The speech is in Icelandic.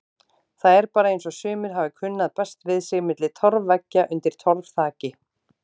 Það er bara eins og sumir hafi kunnað best við sig milli torfveggja undir torfþaki.